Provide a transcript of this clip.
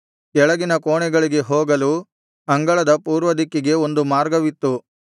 ಕೆಳಗಿನ ಕೋಣೆಗಳಿಗೆ ಹೋಗಲು ಅಂಗಳದ ಪೂರ್ವದಿಕ್ಕಿಗೆ ಒಂದು ಮಾರ್ಗವಿತ್ತು